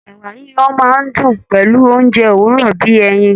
Ẹ̀wà yiyan máa ń dùn pẹ̀lú oúnjẹ òwúrọ̀ bí i ẹyin